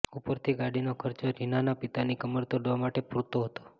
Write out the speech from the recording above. ઉપરથી ગાડીનો ખર્ચો રીનાના પિતાની કમર તોડવા માટે પૂરતો હતો